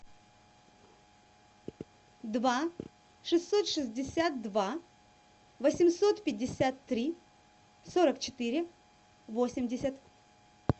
два шестьсот шестьдесят два восемьсот пятьдесят три сорок четыре восемьдесят